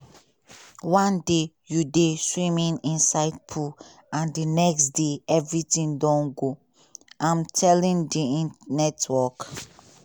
"one day you dey swimming inside pool and di next day everytin don go" im tell di network.